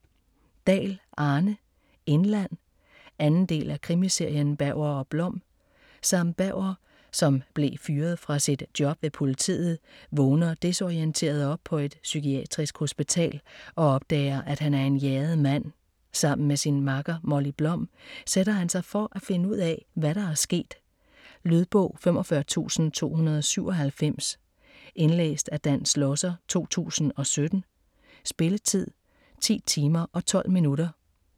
Dahl, Arne: Indland 2. del af krimiserien Berger & Blom. Sam Berger, som blev fyret fra sit job ved politiet, vågner desorienteret op på et psykiatrisk hospital og opdager, at han er en jaget mand. Sammen med sin makker, Molly Blom, sætter han sig for finde ud af, hvad der er sket. Lydbog 45297 Indlæst af Dan Schlosser, 2017. Spilletid: 10 timer, 12 minutter.